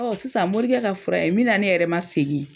Ɔ sisan morikɛ ka fura ye, min na ne yɛrɛ ma segin.